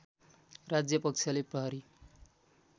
राज्यपक्षले प्रहरी